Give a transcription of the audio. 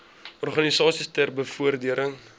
organisasies ter bevordering